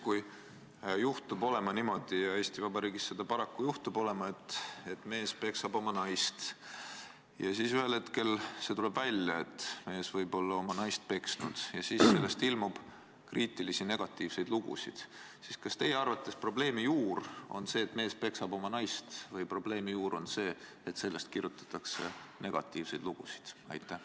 Kui juhtub olema niimoodi – ja Eesti Vabariigis seda paraku juhtub –, et mees peksab oma naist, ühel hetkel see tuleb välja, et mees võib olla oma naist peksnud, ja sellest ilmub kriitilisi ja negatiivseid lugusid, siis kas teie arvates on probleemi juur see, et mees peksab oma naist, või on probleemi juur see, et sellest kirjutatakse negatiivseid lugusid?